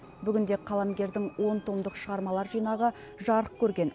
бүгінде қаламгердің он томдық шығармалар жинағы жарық көрген